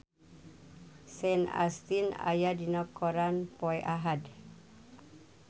Sean Astin aya dina koran poe Ahad